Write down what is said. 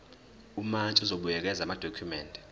umantshi uzobuyekeza amadokhumende